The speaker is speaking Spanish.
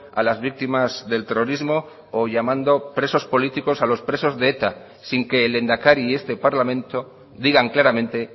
a las víctimas del terrorismo o llamando presos políticos a los presos de eta sin que el lehendakari y este parlamento digan claramente